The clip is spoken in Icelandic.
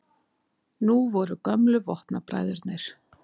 Nú voru gömlu vopnabræðurnir